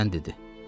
Birdən dedi: